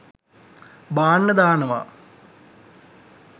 බාන්න දානවා.